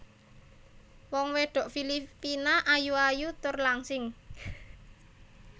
Wong wedok Filipina ayu ayu tur langsing